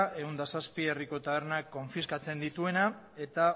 ehun eta zazpi herriko taberna konfiskatzen dituena eta